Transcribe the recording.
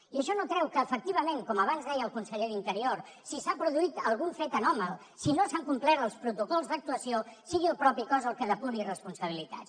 i això no treu que efectivament com abans deia el conseller d’interior si s’ha produït algun fet anòmal si no s’han complert els protocols d’actuació sigui el mateix cos el que depuri responsabilitats